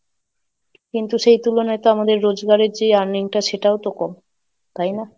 কিন্তু সেই তুলনায় তো আমাদের রোজগারের যে earning টা সেটাও তো কম, তাই না?